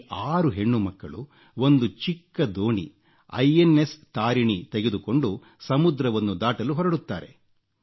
ಈ 6 ಹೆಣ್ಣುಮಕ್ಕಳು ಒಂದು ಚಿಕ್ಕ ದೋಣಿ ಐಎನ್ಎಸ್ ತಾರಿಣಿ ತೆಗೆದುಕೊಂಡು ಸಮುದ್ರವನ್ನು ದಾಟಲು ಹೊರಡುತ್ತಾರೆ